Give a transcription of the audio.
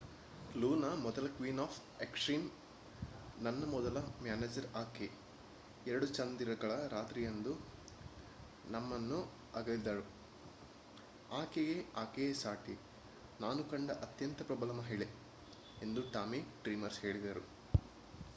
"Luna ಮೊದಲ queen of extreme. ನನ್ನ ಮೊದಲ ಮ್ಯಾನೇಜರ್ ಆಕೆ. ಎರಡು ಚಂದಿರಗಳ ರಾತ್ರಿಯಂದು ನಮ್ಮನ್ನು ಅಗಲಿದರು. ಆಕೆಗೆ ಆಕೆಯೇ ಸಾಟಿ. ನಾನು ಕಂಡ ಅತ್ಯಂತ ಪ್ರಬಲ ಮಹಿಳೆ ಎಂದು ಟಾಮಿ ಡ್ರೀಮರ್ ಹೇಳಿದರು